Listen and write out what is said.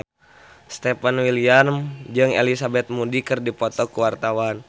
Stefan William jeung Elizabeth Moody keur dipoto ku wartawan